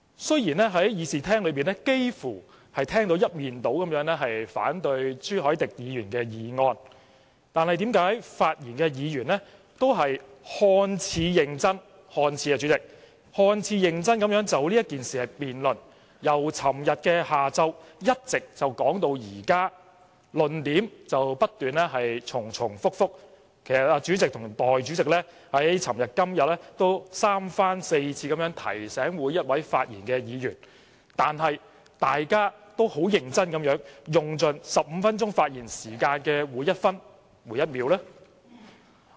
雖然在議事廳內聽到的聲音幾乎一面倒反對朱凱廸議員的議案，但為何發言的議員均看似認真地——主席，是看似——就這議案辯論，由昨天下午一直辯論至今，論點不斷重複，儘管主席和代理主席昨天和今天也三番四次地提醒每位發言的議員，但他們仍很認真地用盡15分鐘發言時間的每分每秒。